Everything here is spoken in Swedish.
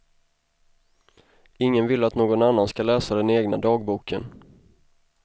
Ingen vill att någon annan ska läsa den egna dagboken.